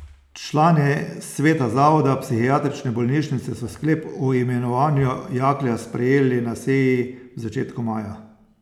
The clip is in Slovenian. Člani sveta zavoda psihiatrične bolnišnice so sklep o imenovanju Jaklja sprejeli na seji v začetku maja.